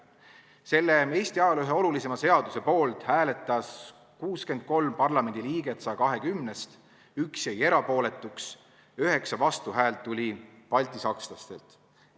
Selle Eesti ajaloo ühe olulisema seaduse poolt hääletas 63 parlamendi liiget 120-st, 1 jäi erapooletuks, 9 vastuhäält tuli baltisakslastelt.